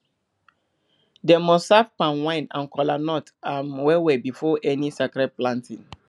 dem must serve palm wine and kola nut um well well before any sacred planting